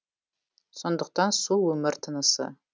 сондықтан су өмір тынысы